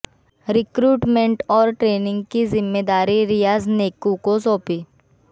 recruitment और training की जिम्मेदारी रियाज नैकू को सौंपी